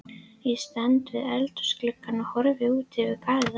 Ég stend við eldhúsgluggann og horfi út yfir garðana.